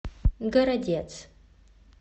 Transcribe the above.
городец